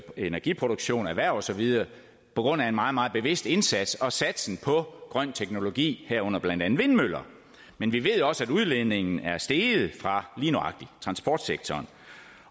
energiproduktion erhverv og så videre på grund af en meget meget bevidst indsats og satsen på grøn teknologi herunder blandt andet vindmøller men vi ved også at udledningen er steget fra lige nøjagtig transportsektoren